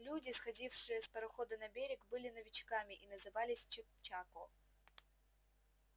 люди сходившие с парохода на берег были новичками и назывались чечако